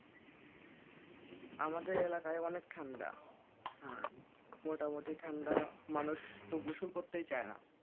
আমাদের এলাকায় অনেক ঠান্ডা মোটামুটি ঠান্ডা মানুষ তো গোসল করতে চায় না।